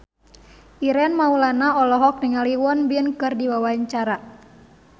Ireng Maulana olohok ningali Won Bin keur diwawancara